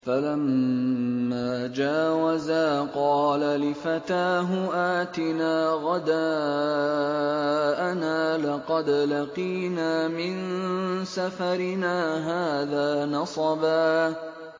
فَلَمَّا جَاوَزَا قَالَ لِفَتَاهُ آتِنَا غَدَاءَنَا لَقَدْ لَقِينَا مِن سَفَرِنَا هَٰذَا نَصَبًا